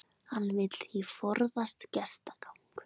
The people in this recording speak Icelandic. Hann vill því forðast gestagang